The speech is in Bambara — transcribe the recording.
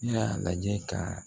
Ne y'a lajɛ kaa